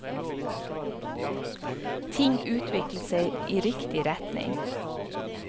Ting utviklet seg i riktig retning.